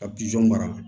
Ka mara